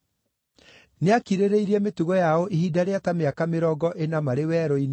nĩakirĩrĩirie mĩtugo yao ihinda rĩa ta mĩaka mĩrongo ĩna marĩ werũ-inĩ,